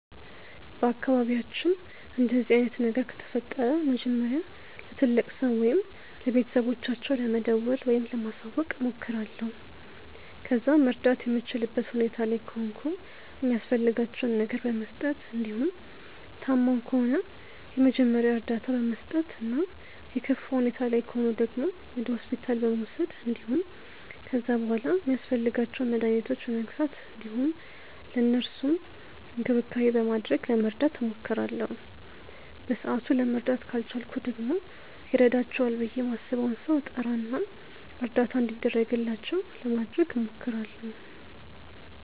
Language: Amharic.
በአካባቢያችን እንደዚህ አይነት ነገር ከተፈጠረ መጀመሪያ ለትልቅ ሰው ወይም ለቤተሰቦቻቸው ለመደወል ወይም ለማሳወቅ እሞክራለሁ። ከዛ መርዳት የምችልበት ሁኔታ ላይ ከሆንኩ የሚያስፈልጋቸውን ነገር በመስጠት እንዲሁም ታመው ከሆነ ደግሞ የመጀመሪያ እርዳታ በመስጠት እና የከፋ ሁኔታ ላይ ከሆኑ ደግሞ ወደ ሆስፒታል በመውሰድ እንዲሁም ከዛ በሗላ ሚያስፈልጓቸውን መድኃኒቶች በመግዛት እንዲሁም ለእነሱም እንክብካቤ በማድረግ ለመርዳት እሞክራለሁ። በሰአቱ ለመርዳት ካልቻልኩ ደግሞ ይረዳቸዋል ብዬ ማስበውን ሰው እጠራ እና እርዳታ እንዲደረግላቸው ለማድረግ እሞክራለሁ።